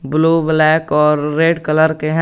Blue black और red colour के हैं।